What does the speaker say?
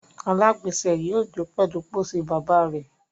alagbese yóò jo pèlú pósí bàbà rẹ.